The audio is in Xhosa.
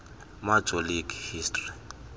major league history